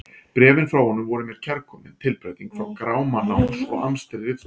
Bréfin frá honum voru mér kærkomin tilbreyting frá gráma náms og amstri ritstjórnar.